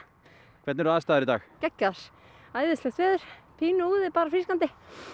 hvernig eru aðstæður í dag geggjaðar æðislegt veður pínu úði bara frískandi